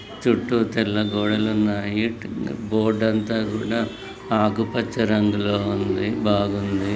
చుట్టూ తెల్ల గోడలు ఉన్నాయి బోర్డు అంతా కూడా ఆకుపచ్చ రంగులో ఉంది బాగుంది.